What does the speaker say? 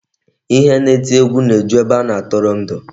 Ihe na-eti egwu na-eju ebe a na-atụrụ ndụ.